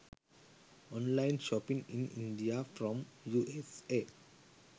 online shopping in india from usa